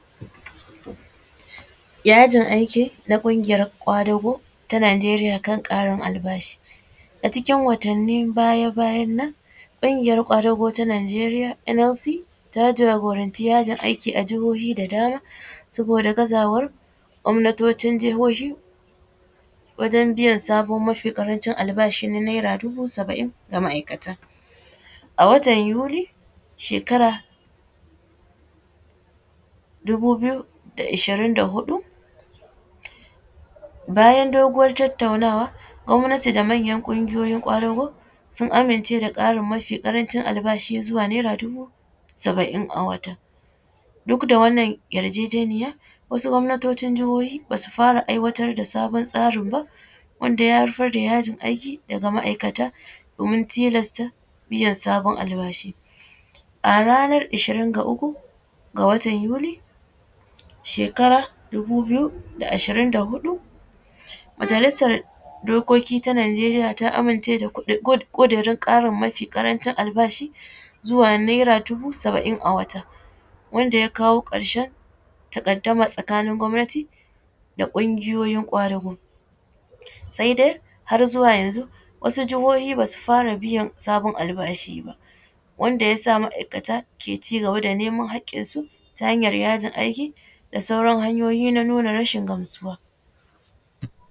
Yajin aiki na kungiyar kwadugo ta Nijeriya kan yajin aiki, a cikin watanin baya-bayan nan kungiyar kwadugo ta Nijeriya NLC ta jagoranci yajin aiki a jahohi da dama saboda gazawan gwamnatocin wajen biyan sabon mafi karancin albashi na near dubu saba’in ga ma’aikata, a watan yuli shekara dubu biyu da ashirin da huɗu bayan dogon tattauna gwamnati da manyan kungiyar kwadugo sun amince da Karin mafi karanshin albashi ya zuwa naira dubu samain a wata, duk da wannan yarjejeniya wasu gwamnatocin jahohi basu fara aiwatar da sabon tsarin ba wanda ya haifar da yajin aiki daga ma’aikata domin tilasta biyan sabon albashi, a ranar ashirin da uku ga watan yuli shakara dubu biyu da ashirin da huɗu majalisar dokoki ta Nijeriya ta amince da kudirin Karin mafi karancin albashi zuwa naira dubu saba’in a wata wanda ya kawo karshen takadama tsakanin gwamnati da kungiyoyin kwadugo sai dai har zuwa yanzu wasu jahohi basu fara biyan sabon albashi ba wanda yasa ma’aikata ke cigaba da neman hakinsu ta hanyar yajin aiki da sauran hanyoyi na nuna rashin gamsuwa.